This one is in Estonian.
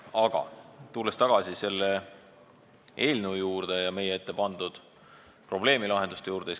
Aga tulen tagasi selle eelnõu ja meie ettepandud probleemi lahenduste juurde.